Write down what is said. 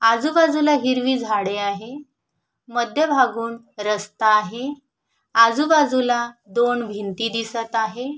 आजूबाजूला हिरवी झाडे आहे मध्य भागून रस्ता आहे आजूबाजूला दोन भिंती दिसत आहे.